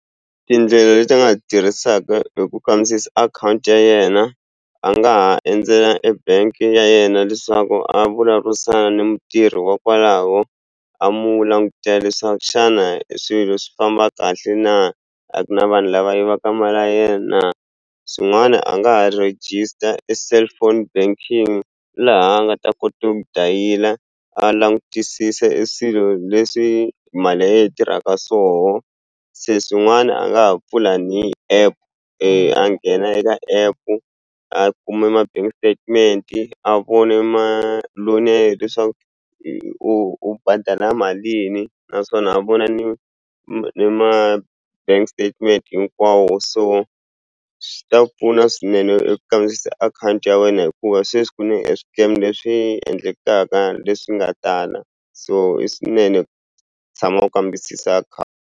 Tindlela leti a nga tirhisaka hi ku kambisisa akhawunti ya yena a nga ha endzela ebank ya yena leswaku a vulavurisana ni mutirhi wa kwalaho a mu langutela leswaku xana eswilo swi famba kahle na a ku na vanhu lava yivaka mali ya yena swin'wani a nga ha register e cellphone banking laha a nga ta kota ku dayila a langutisisa eswilo leswi mali ya ye yi tirhaka swoho se swin'wana a nga ha pfula ni app a nghena eka app-u a kume ma-bank statement a vone ma loan ya ye leswaku u u badala malini naswona a vona ni ni ma bank statement hinkwawo so swi ta pfuna swinene eku kambisisa akhawunti ya wena hikuva sweswi ku ne e swikemu leswi endlekaka leswi nga tala so i swinene tshama u kambisisa .